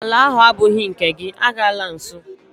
Ala ahụ agbụghị nke gị, agala nsọ!